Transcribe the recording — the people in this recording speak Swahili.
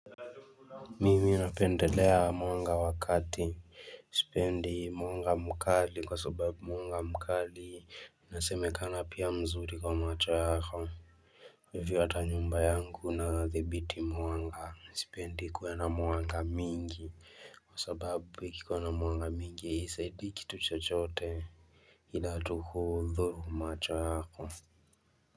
Mimi napendelea mwanga wa kadri, sipendi mwanga mkali kwa sababu mwanga mkali, inasemekana pia mzuri kwa macho yako. hiVyo hata nyumba yangu na adhibiti mwanga, sipendi ikuwe na mwanga mingi, kwa sababu ikikuwa na mwanga mingi ya isaidiki tuchochote. Hila tu hudhuru macho yako.